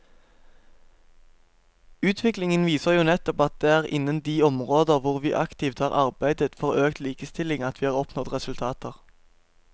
Utviklingen viser jo nettopp at det er innen de områder hvor vi aktivt har arbeidet for økt likestilling at vi har oppnådd resultater.